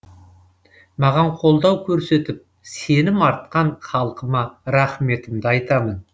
маған қолдау көрсетіп сенім артқан халқыма рахметімді айтамын